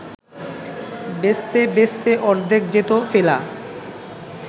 বেচতে বেচতে অর্ধেক যেত ফেলা